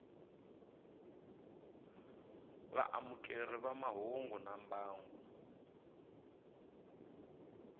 vaamukeri va mahungu na mbangu